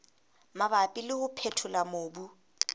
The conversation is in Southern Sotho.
mabapi le ho phethola mobu